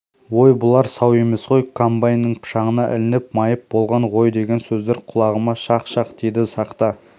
ой бұлар сау емес қой комбайнның пышағына ілініп майып болған ғойдеген сөздер құлағыма шақ-шақ тиді сақта